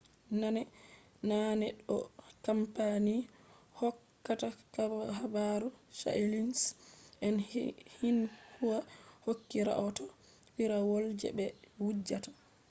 naane ɗo kampani hokkata habaru chainiis'en xinhua hokki rahoto piirawol je ɓe wujjata